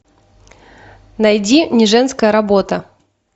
найди не женская работа